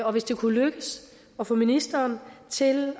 og hvis det kunne lykkes at få ministeren til